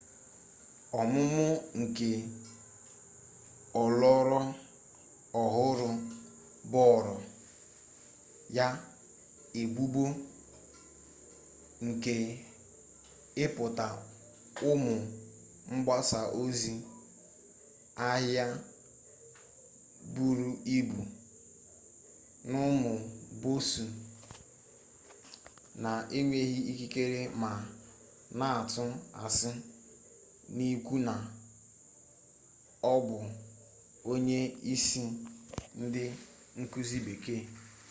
ọmụmụ nke ọlọrọ ọhụrụ boro ya ebubo nke ibipụta ụmụ mgbasa ozi ahịa buru ibu n'ụmụ bọọsụ na-enweghị ikikere ma na-atụ asị n'ikwu na ọ bụ onye isi ndị nkuzi bekee